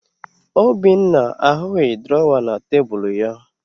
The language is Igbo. Obinna ahụghị drọwa na tebulu ya